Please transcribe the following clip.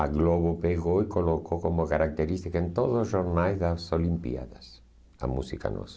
A Globo pegou e colocou como característica em todos os jornais das Olimpíadas, a música nossa.